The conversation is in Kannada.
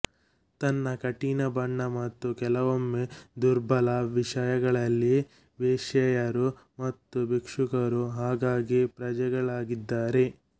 ತನ್ನ ಕಠಿಣ ಬಣ್ಣ ಮತ್ತು ಕೆಲವೊಮ್ಮೆ ದುರ್ಬಲ ವಿಷಯಗಳಲ್ಲಿ ವೇಶ್ಯೆಯರು ಮತ್ತು ಭಿಕ್ಷುಕರು ಆಗಾಗ್ಗೆ ಪ್ರಜೆಗಳಾಗಿದ್ದಾರೆ